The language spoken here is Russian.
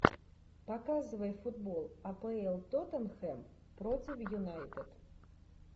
показывай футбол апл тоттенхэм против юнайтед